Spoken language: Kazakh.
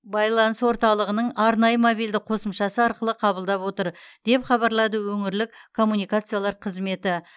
байланыс орталығының арнайы мобильді қосымшасы арқылы қабылдап отыр деп хабарлады өңірлік коммуникациялар қызметі